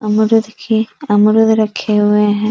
अमरूद अमरूद रखे हुए हैं।